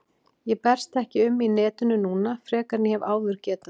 Ég berst ekki um í netinu núna frekar en ég hef áður getað.